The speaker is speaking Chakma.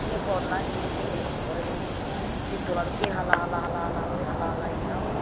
eh pod na he cini ekkore he ed dola dokki hala hala hala guri.